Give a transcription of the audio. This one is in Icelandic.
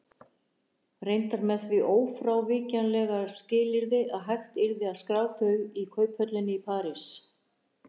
Reyndar með því ófrávíkjanlega skilyrði að hægt yrði að skrá þau í kauphöllinni í París.